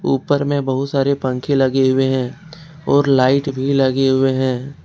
ऊपर में बहुत सारे पंखे लगे हुए हैं और लाइट भी लगे हुए हैं।